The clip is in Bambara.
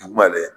Dugumalen